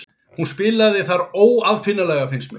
Hún spilaði þar óaðfinnanlega fannst mér.